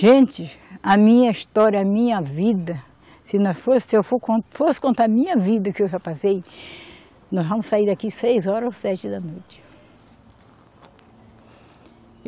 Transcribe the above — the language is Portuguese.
Gente, a minha história, a minha vida, se nós for, se eu for con, fosse contar a minha vida que eu já passei, nós vamos sair daqui seis horas ou sete da noite.